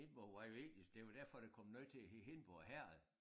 Hindborg var jo egentlig det jo derfor der kom noget til at hedde Hindborg Herred